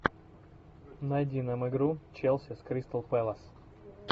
найди нам игру челси с кристал пэлас